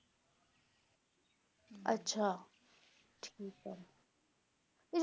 ਅੱਛਾ ਠੀਕ ਹੈ